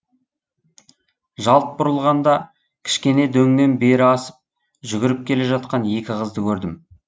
жалт бұрылғанда кішкене дөңнен бері асып жүгіріп келе жатқан екі қызды көрдім